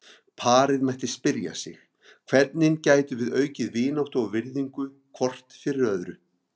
Parið mætti spyrja sig: Hvernig getum við aukið vináttu og virðingu hvort fyrir öðru?